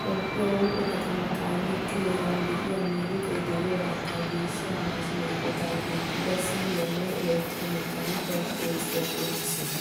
Toophphiyaa huuphphee kataman qaaliti heeran de'iyaa miriqay deiyo haattaa geeshshiyaa maashshiniyaa eqqotay keexettidi siviliyaanne elektromekanikaliyaa oosuwaa qonccisees.